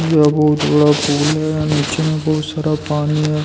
यहां बहुत बड़ा पूल है और नीचे में बहुत सारा पानी है।